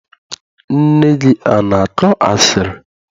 Nne gị ana akọ asịrị?